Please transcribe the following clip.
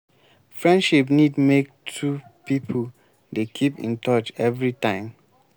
friendship need make two pipo dey keep in touch every time